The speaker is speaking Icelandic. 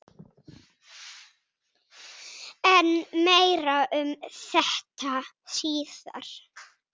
En meira um þetta síðar.